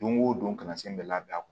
Don o don kalansen bɛɛ labɛn a kun